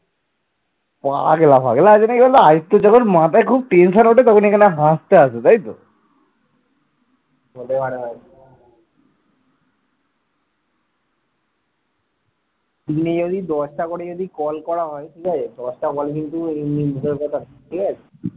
দিনে যদি দশটা করে যদি call করা হয়, ঠিক আছে? দশটা call কিন্তু এমনি মুখের কথা নয় ঠিক আছে।